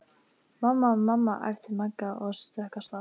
Mamma, mamma æpti Magga og stökk af stað.